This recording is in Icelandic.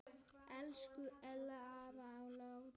Elsku Elli afi er látin.